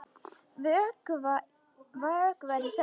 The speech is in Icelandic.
Vökvar í þögn.